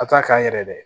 A t'a k'a yɛrɛ dɛ